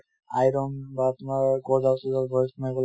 iron বা তোমাৰ গজাল চজাল সোমাই গ'লে